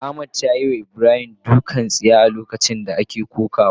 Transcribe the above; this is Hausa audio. Ahmad yayiwa Ibrahim dukan tsiya a lokacin da ake kokawa.